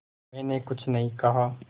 मैंने कुछ नहीं कहा